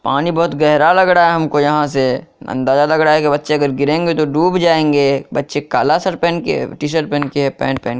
पानी बहुत गहरा लग रहा है हमको यहां से अंदाजा लग रहा है कि बच्चे अगर गिरेंगे तो डूब जाएंगे बच्चे काला शर्ट पहेन के टी-शर्ट पहेन के पेन्ट पहेन के --